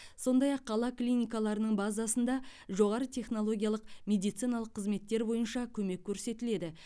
сондай ақ қала клиникаларының базасында жоғары технологиялық медициналық қызметтер бойынша көмек көрсетіледі